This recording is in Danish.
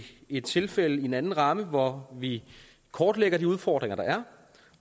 i tilfælde af en anden ramme hvor vi kortlægger de udfordringer der er